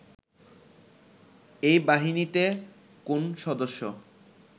এই বাহিনীতে কোন সদস্য